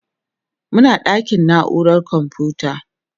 Muna ɗakin naurar komfuta.